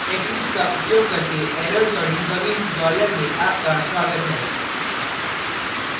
eclipse का उपयोग करके errors और debugging tutorial में आपका स्वागत है